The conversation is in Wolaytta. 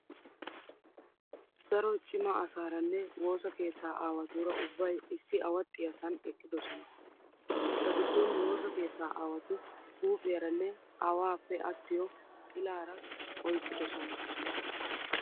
Daro cima asaaraanne woosa keettaa aawaatuura ubbayi issi awaxxiyaasan eqqidosona. Eta giddon woosa keettaa aawati guupiyaaranne awaappe attiyo xilaara oyiqqdosona.